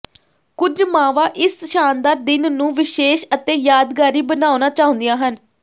ਕੁਝ ਮਾਵਾਂ ਇਸ ਸ਼ਾਨਦਾਰ ਦਿਨ ਨੂੰ ਵਿਸ਼ੇਸ਼ ਅਤੇ ਯਾਦਗਾਰੀ ਬਣਾਉਣਾ ਚਾਹੁੰਦੀਆਂ ਹਨ